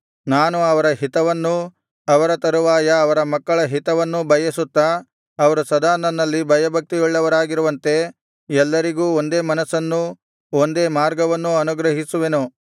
ನಾನು ಅವರ ಹಿತವನ್ನೂ ಅವರ ತರುವಾಯ ಅವರ ಮಕ್ಕಳ ಹಿತವನ್ನೂ ಬಯಸುತ್ತಾ ಅವರು ಸದಾ ನನ್ನಲ್ಲಿ ಭಯಭಕ್ತಿಯುಳ್ಳವರಾಗಿರುವಂತೆ ಎಲ್ಲರಿಗೂ ಒಂದೇ ಮನಸ್ಸನ್ನೂ ಒಂದೇ ಮಾರ್ಗವನ್ನೂ ಅನುಗ್ರಹಿಸುವೆನು